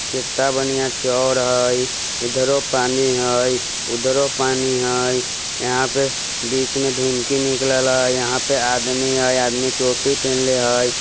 कित्ता बढ़िया चौर हई ईधरो पानी हई उधरो पानी हई यहाँ पे बीच में ढीमकी निकले हई यहां पे आदमी हई आदमी टोपी पहिनले हई।